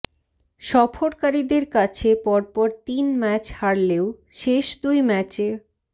সফরকারীদের কাছে পরপর তিন ম্যাচ হারলেও শেষ দুই ম্যাচে